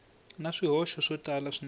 na swihoxo swo tala swinene